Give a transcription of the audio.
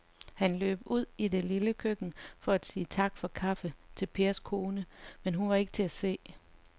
Han løb ud i det lille køkken for at sige tak for kaffe til Pers kone, men hun var ikke til at se.